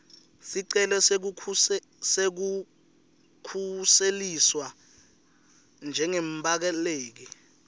sicelo sekukhuseliswa njengembaleki